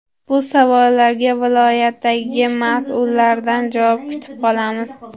Bu savollarga viloyatdagi mas’ullardan javob kutib qolamiz.